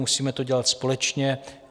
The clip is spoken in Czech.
Musíme to dělat společně.